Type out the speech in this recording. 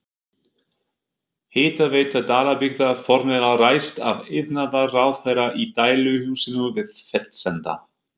Hitaveita Dalabyggðar formlega ræst af iðnaðarráðherra í dæluhúsinu við Fellsenda.